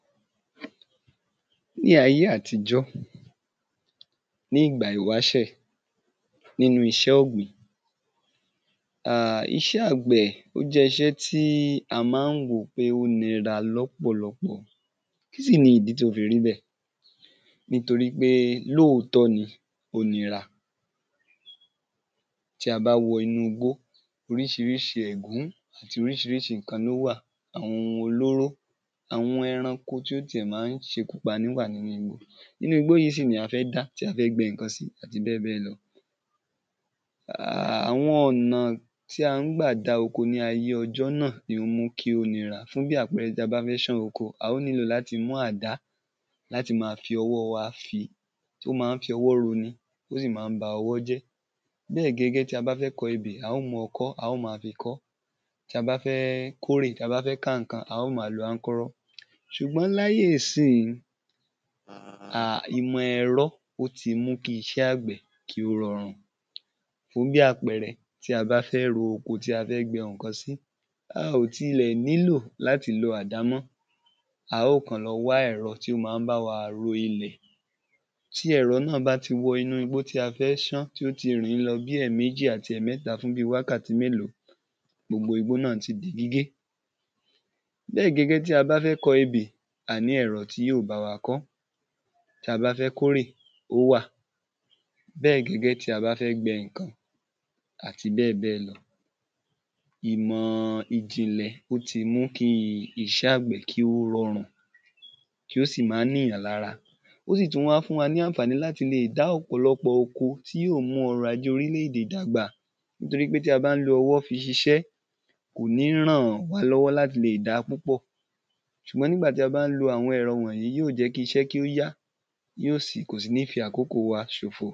ní ayé àtijọ́, ní ìgbà ìwásẹ̀ nínu iṣẹ́ ọ̀gbìn, iṣẹ́ àgbẹ̀, ó jẹ́ iṣẹ́ tí a ma ti ń wò pé ó nira lọ́pọ̀lọpọ̀ kí sì ni ìdí tó fi rí bẹ̀, nítorí pé lóòtọ́ ni ó nira tí a bá wọ inú igbó, oríṣirìṣi ẹ̀gún, àti oríṣiríṣi ǹkan ni ó wà, àwọn ohun olóró, àwọn ẹranko tí ó tiẹ̀ ma ń ṣekú pani wà nínu igbó, inú igbó yìí sì ni a fẹ́ dá, tí a fẹ́ gbin ǹkan sí, àti bẹ́ẹ̀ bẹ́ẹ̀ lọ àwọn ọnà tí a gbà dá oko ní ayé ọjọ́ náà ni ó mú kí ó nira, fún bí àpẹrẹ tí a bá fẹ́ ṣán oko, a óò nílò láti mú àdá, láti máa fi ọwọ́ wa fìí, ó ma ń fi ọwọ́ ro ni, ó sì ma ń ba ọwọ́ jẹ́ bẹ́ẹ̀ gẹ́gẹ́ tí a bá fẹ́ kọ ẹbẹ̀, a óò mú ọkọ́ a óò fi kọ ọ́, tí a bá kórè, tí a bá fẹ́ ká ǹkan, a óò ma lo ankọ́rọ́ ṣùgbọ́n láyé ìsín, ìmọ̀ ẹ̀rọ ó ti mú ki iṣẹ́ àgbẹ̀ kí ó rọrùn fún bí àpẹrẹ tí a bá fẹ́ ro oko tí a bá fẹ́ gbin ǹkan sí, a óò tilẹ̀ nílò láti lo àdá mọ, a ó kàn tiẹ̀ lọ wá ẹ̀rọ tí ó máa bá wa ro ilẹ̀ tí ẹ̀ro náà bá ti wọ inú igbó tí a fẹ́ ṣán, tí ó ti rìn ín lọ bí ẹ̀mejì àti ẹ̀mẹta fún bíi wákàtí mélòó, gbogbo igbó náà ti di gígé bẹ́ẹ̀ gẹ́gẹ́ bí a bá fẹ́ kọ ebè, a ní ẹ̀rọ tí yóò bá wa kọ ọ́, tí a bá fẹ́ kórè, ó wà, bẹ́ẹ̀ gẹ́gẹ́ bí a bá fẹ́ gbin ǹkan àti bẹ́ẹ̀ bẹ́ẹ̀ lọ ìmọ̀ ìjìnlẹ̀, ó ti mú kí iṣẹ́ àgbẹ̀ kí ó rọrùn, kí ó sì má ni èyàn lára. ó sì tún wá fún wa ní àǹfàní láti lè dá ọ̀pọ̀lọpọ̀ oko, tí yóò mú ọrọ̀-ajé orílẹ̀-èdè dàgbà nítorí pé tí a bá lo ọwọ́ fi ṣiṣẹ́, kò ní ràn wá lọ́wọ́ láti lè dáa púpọ̀ ṣùgbọ́n nígbà tí a bá lòó, yóò jẹ́ kí iṣẹ́ kí ó yá, kò sì ní fi àkóko wa ṣòfò